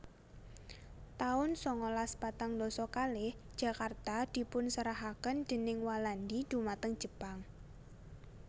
taun sangalas patang dasa kalih Jakarta dipunserahaken déning Walandi dhumateng Jepang